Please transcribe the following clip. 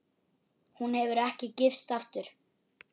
Hún hefur ekki gifst aftur.